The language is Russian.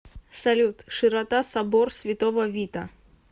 салют широта собор святого вита